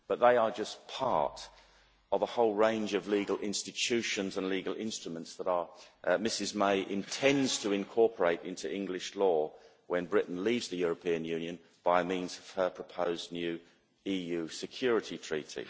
But they are just part of a whole range of legal institutions and legal instruments that Ms May intends to incorporate into English law when Britain leaves the European Union by means of her proposed new EU security treaty.